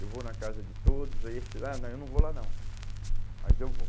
Eu vou na casa de todos, aí eles falam, ah eu não vou lá não, mas eu vou.